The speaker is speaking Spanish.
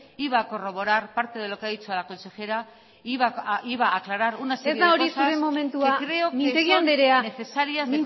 iba a corroborar parte de lo que ha dicho la consejera e iba a aclarar una serie de ez da hori zure momentua mintegi andrea que creo que son necesarias